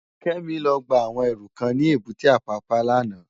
Kemi lò gbá áwòn èrú kán ni ébùté Apapa làná